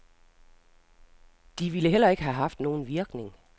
De ville heller ikke have haft nogen virkning.